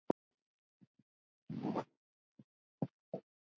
Blessuð sé minning elsku Magneu.